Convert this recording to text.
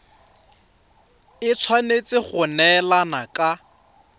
e tshwanetse go neelana ka